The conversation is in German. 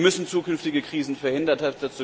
Wir müssen zukünftige Krisen verhindern.